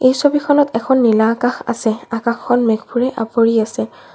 এই ছবিখনত এখন নীলা আকাশ আছে আকাশখন মেঘবোৰে আৱৰি আছে।